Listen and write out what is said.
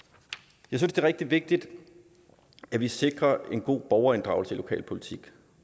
jeg synes det er rigtig vigtigt at vi sikrer en god borgerinddragelse i lokalpolitik